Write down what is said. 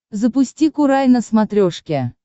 запусти курай на смотрешке